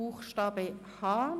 Buchstabe h.